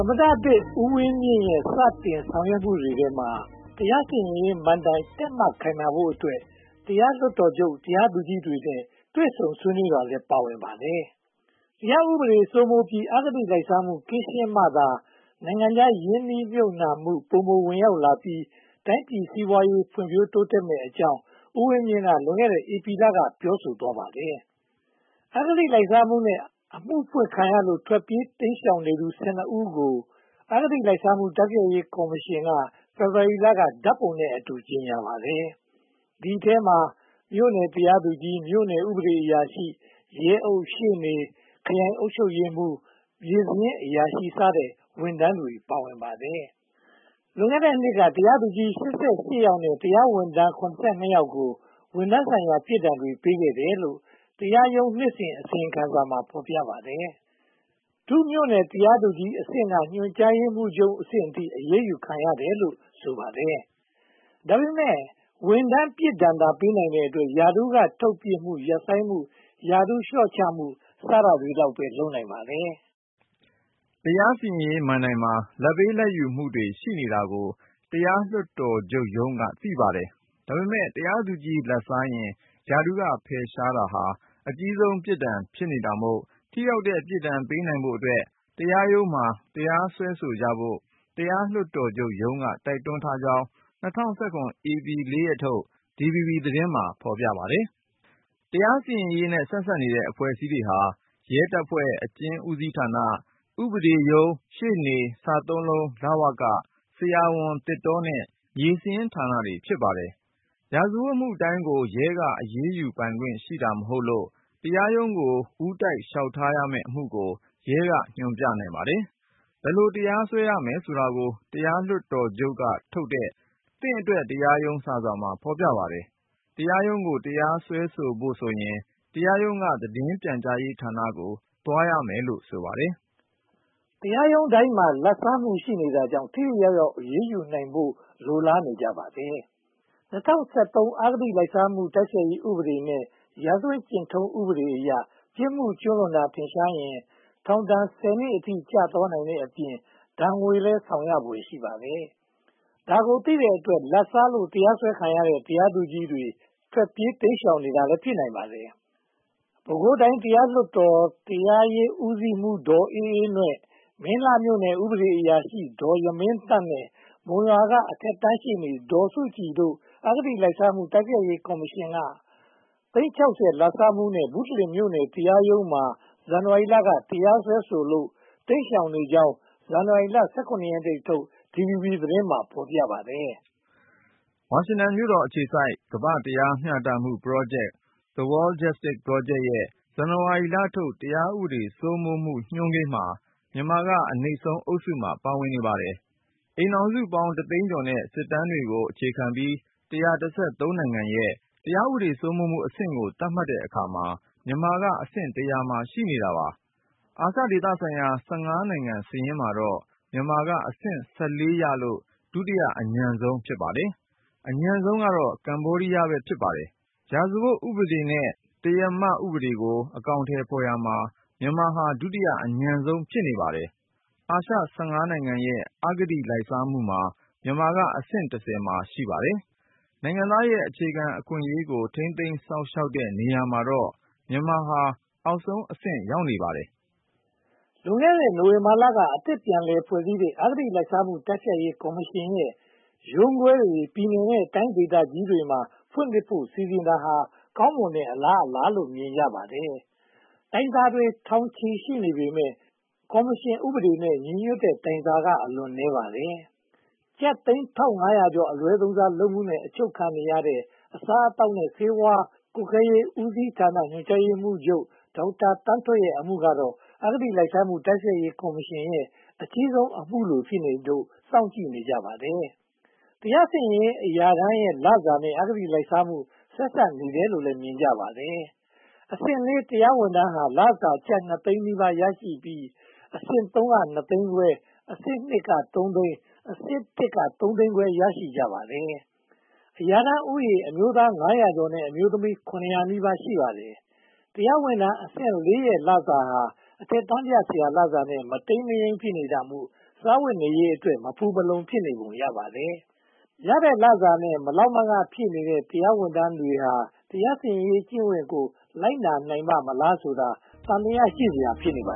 မတဦးဝင်းမြင့်ရဲ့ စတင်ဆောင်ရွက်မှုတွေထဲမှာ တရားစီရင်ရေးမဏ္ဍိုင် တည့်မတ်ခိုင်မာဖို့အတွက် တရားလွှတ်တော်ချုပ် တရားသူကြီးတွေနဲ့ တွေ့ဆုံဆွေးနွေးတာလည်း ပါဝင်လာပါတယ်။ တရားဥပဒေစိုးမိုးပြီး အဂတိလိုက်စားမှု ကင်းရှင်းမှသာ နိုင်ငံခြားရင်းနှီးမြုပ်နံှမှု ပိုမိုဝင်ရောက်လာပြီး တိုင်းပြည်စီးပွားရေး ဖွံ့ဖြိုးတိုးတက်မည်ဖြစ်ကြောင်း ဦးဝင်းမြင့်က လွန်ခဲ့တဲ့ ဧပြီလက ပြောဆိုလိုက်ပါတယ်။ အဂတိလိုက်စားမှုနဲ့ အမှုဖွင့်ခံရလို့ ထွက်ပြေးတိမ်ရှောင်နေသူ (၁၂) ဦးကို အဂတိလိုက်စားမှု တိုက်ဖျက်ရေးကော်မရှင်က ဖေဖေါ်ဝါရီလက ဓါတ်ပုံနဲ့အတူ ကြေညာပါတယ်။ ဒီအထဲမှာ မြို့နယ်တရားသူကြီး၊ မြို့နယ်ဥပဒေအရာရှိ၊ ရဲအုပ်၊ ရှေ့နေ၊ ခရိုင်အုပ်ချုပ်ရေးမှူး၊ မြေစာရင်းအရာရှိစတဲ့ ဝန်ထမ်းတွေ ပါဝင်ပါတယ်။ လွန်ခဲ့တဲ့နှစ်က တရားသူကြီး (၈၈) ယောက်နဲ့ တရားရုံးဝန်ထမ်း (၇၂) ယောက်ကို ဝန်ထမ်းဆိုင်ရာ ပြစ်ဒဏ်တွေ ပေးခဲ့တယ်လို့ တရားရုံးနှစ်စဉ် အစီရင်ခံစာမှာ ဖော်ပြပါတယ်။ ဒုမြို့နယ်တရားသူကြီးအဆင့်က ညွှန်ကြားရေးမှူးချုပ်အဆင့်အထိ အရေးယူခံရတယ်လို့ ဆိုပါတယ်။ ဒါပေမဲ့ ဝန်ထမ်းပြစ်ဒဏ်သာ ပေးနိုင်တဲ့အတွက် ရာထူးက ထုတ်ပစ်မှု၊ ရပ်ဆိုင်းမှု၊ ရာထူးလျှော့ချမှု စတာလောက်ပဲ လုပ်နိုင်ပါတယ်။ တရားစီရင်ရေးမဏ္ဍိုင်မှာ လာဘ်ပေးလာဘ်ယူမှုတွေ ရှိနေတာကို တရားလွှတ်တော်ချုပ်ရုံးက သိပါတယ်။ ဒါပေမဲ့ တရားသူကြီး လာဘ်စားရင် ရာထူးက ဖယ်ရှားတာဟာ အကြီးဆုံး ပြစ်ဒဏ်ဖြစ်နေတာမို့ ထိရောက်တဲ့ ပြစ်ဒဏ်ပေးနိုင်ဖို့အတွက် တရားရုံးမှာ တရားစွဲကြဖို့ တရားလွှတ်တော်ချုပ်ရုံးက တိုက်တွန်းထားကြောင်း ၂၀၁၇ ဧပြီလ (၄) ရက်နေ့ထုတ် DVB သတင်းမှာ ဖော်ပြထားပါတယ်။ တရားစီရင်ရေးနဲ့ ဆက်စပ်နေတဲ့ အဖွဲ့အစည်းတွေဟာ ရဲတပ်ဖွဲ့၊ အကျဉ်းဌာန၊ ဥပဒေရုံး၊ ရှေ့နေ၊ စသုံးလုံး၊ လဝက၊ ဆရာဝန်၊ သစ်တောနဲ့ မြေစာရင်းဌာနတွေ ဖြစ်ပါတယ်။ ရာဇဝတ်မှုတိုင်းကို ရဲက အရေးယူပိုင်ခွင့်ရှိတာ မဟုတ်လို့ တရားရုံးကို ဦးတိုက်လျှောက်ထားရမယ့် အမှုကို ရဲက ညွှန်ပြနိုင်ပါတယ်။ ဘယ်လို တရားစွဲရမယ်ဆိုတာကို တရားလွှတ်တော်ချုပ်ကထုတ်တဲ့ 'သင့်အတွက် တရားရုံး' စာစောင်မှာ ဖော်ပြထားပါတယ်။ တရားရုံးကို တရားစွဲဆိုဖို့ဆိုရင် တရားရုံးက သတင်းပြန်ကြားရေးဌာနကို သွားရမယ်လို့ ဆိုပါတယ်။ တရားရုံးတိုင်းမှာ လာဘ်စားမှု ရှိနေတာကြောင့် ထိထိရောက်ရောက် အရေးယူနိုင်ဖို့ လိုလားနေကြပါတယ်။ ၂၀၁၃ အဂတိလိုက်စားမှု တိုက်ဖျက်ရေးဥပဒေနဲ့ ရာဇဝတ်ကျင့်ထုံးဥပဒေအရ ပြစ်မှုကျူးလွန်တာ ထင်ရှားရင် ထောင်ဒဏ် (၁၀) နှစ်အထိ ကျသွားနိုင်တဲ့အပြင် ဒဏ်ငွေလည်း ဆောင်ရဖွယ်ရှိပါတယ်။ ဒါကိုသိတဲ့အတွက် လာဘ်စားလို့ တရားစွဲခံထားရတဲ့ တရားသူကြီးတွေ ထွက်ပြေးတိမ်ရှောင်နေတာ ဖြစ်ပုံရပါတယ်။ ပဲခူးတိုင်းတရားလွှတ်တော်၊ တိုင်းတရားရေးဦးစီးမှူး ဒေါ်အေးအေးနွဲ့၊ မင်းလှမြို့နယ် ဥပဒေအရာရှိ ဒေါ်ယမင်းသန့်နဲ့ မုံရွာမြို့က အထက်တန်းရှေ့နေ ဒေါ်စုကြည်တို့ကို အဂတိလိုက်စားရေး တိုက်ဖျက်ရေးကော်မရှင်က သိန်း (၆၀) လာဘ်စားမှုနဲ့ ဘုတလင်မြို့နယ် တရားရုံးမှာ ဇန်နဝါရီလက တရားစွဲထားလို့ တိမ်းရှောင်နေကြောင်း ဇန်နဝါရီလ (၁၇) ရက်နေ့ထုတ် DVB သတင်းမှာ ဖော်ပြခဲ့ပါတယ်။ ဝါရှင်တန်မြို့တော်အခြေစိုက် တရားမျှတမှုပရောဂျက် The World Justice Project ရဲ့ ဇန်နဝါရီလထုတ် တရားဥပဒေ စိုးမိုးမှုညွှန်းကိန်းမှာ မြန်မာက အနိမ့်ဆုံးအုပ်စုမှာ ပါဝင်နေပါတယ်။ အိမ်ထောင်စုပေါင်း တသိန်းကျော်နဲ့ စစ်တမ်းတွေကို အခြေခံပြီး (၁၁၃) နိုင်ငံရဲ့ တရားဥပဒေစိုးမိုးမှုအဆင့်ကို သတ်မှတ်တဲ့အခါမှာ မြန်မာကအဆင့် (၁၀၀) မှာ ရှိနေပါတယ်။ အာရှဒေသဆိုင်ရာ (၁၅) နိုင်ငံစာရင်းမှာတော့ မြန်မာကအဆင့် (၁၄) ရလို့ ဒုတိယအညံ့ဆုံး ဖြစ်ပါတယ်။ အညံ့ဆုံးက ကမ္ဘောဒီးယား ဖြစ်ပါတယ်။ ရာဇဝတ်ဥပဒေနဲ့ တရားဥပဒေကို အကောင်အထည်ဖော်ရာမှာ မြန်မာဟာ ဒုတိယအညံ့ဆုံး ဖြစ်ပါတယ်။ အာရှ (၁၅) နိုင်ငံရဲ့ အဂတိလိုက်စားမှုမှာ မြန်မာကအဆင့် (၁၀) မှာ ရှိပါတယ်။ နိုင်ငံသားရဲ့ အခြေခံအခွင့်အရေးကို ထိန်းသိမ်းစောင့်ရှောက်တဲ့နေရာမှာတော့ မြန်မာက အောက်ဆုံးအဆင့်ကို ရောက်နေပါတယ်။ လွန်ခဲ့တဲ့ နိုဝင်ဘာလက အသစ်ပြန်လည်ဖွဲ့စည်းလိုက်တဲ့ အဂတိလိုက်စားမှု တိုက်ဖျက်ရေးကော်မရှင်ရဲ့ ရုံးခွဲတွေကို ပြည်နယ်နဲ့တိုင်း ဒေသကြီးတွေမှာ ဖွင့်လှစ်ဖို့ စီစဉ်တာဟာ ကောင်းမွန်တဲ့အလားအလာလို့ မြင်ကြပါတယ်။ တိုင်းကြားစာတွေ ထောင်ချီနေပြီဖြစ်ပေမယ့် ကော်မရှင်ဥပဒေနဲ့ ညီညွှတ်တဲ့ တိုင်းကြားစာက အလွန်နည်းပါးပါတယ်။ ကျပ်သိန်း (၁၅၀၀) ကျော် အလွဲသုံးစားလုပ်မှုနဲ့ အချုပ်ခံနေရတဲ့ အစားအသောက်နဲ့ ဆေးဝါးကွပ်ကဲရေး ဦးစီးဌာန ညွှန်ကြားရေးမှူးချုပ် ဒေါက်တာသန်းထွဋ်ရဲ့ အမှုကတော့ အဂတိလိုက်စားမှု တိုက်ဖျက်ရေးကော်မရှင်ရဲ့ အကြီးဆုံးအမှုလို ဖြစ်နေလို့ စောင့်ကြည့်နေကြပါတယ်။ တရားစီရင်ရေး အရာထမ်းရဲ့လစာနဲ့ အဂတိလိုက်စားမှု ဆက်စပ်နေတယ်လို့လည်း မြင်ကြပါတယ်။ အဆင့် (၄) တရားဝန်ထမ်းဟာ လစာကျပ် (၂) သိန်းနီးပါးရရှိပြီး၊ အဆင့် (၃) က နှစ်သိန်းခွဲ၊ အဆင့် (၂) က သုံးသိန်း၊ အဆင့် (၁) က သုံးသိန်းခွဲ ရရှိကြပါတယ်။ အရာထမ်းဦးရေ အမျိုးသား (၅၀၀) ကျော်နဲ့ အမျိုးသမီး (၇၀၀) နီးပါး ရှိပါတယ်။ တရားဝန်ထမ်းအဆင့် (၄) ရဲ့ လစာဟာ အထက်တန်းပြဆရာ လစာနဲ့ မတိမ်မယိမ်း ဖြစ်နေတာမို့ စားဝတ်နေရေးအတွက် မဖူမလုံ ဖြစ်နေပုံရပါတယ်။ ရတဲ့လစာနဲ့ မလောက်မငှ ဖြစ်နေတဲ့ တရားဌာနဝန်ထမ်းဟာ တရားစီရင်ရေးကျင့်ဝတ်ကို လိုက်နာနိုင်ပါ့မလားဆိုတာဟာ သံသယ ရှိစရာ ဖြစ်နေပါ